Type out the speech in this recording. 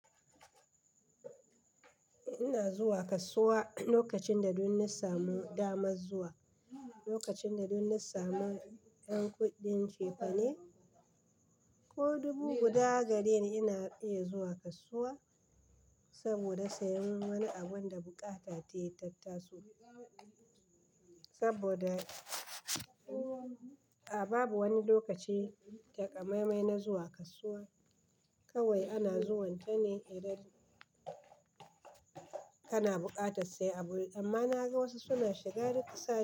Ina zuwa kasuwa lokacin da dunna samu damar zuwa, lokacin da dunna samu ƴan kuɗin cefane. Ko dubu guda gare ina iya zuwa kasuwa saboda siyan wani abun da bukata tai tattaso. Saboda a babu wani lokaci takamaimai na zuwa kasuwa. Kawai ana zuwanta ne idan kana buƙatar sayen abu. Amma na ga wasu suna shiga rikici.